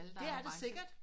Det er det sikkert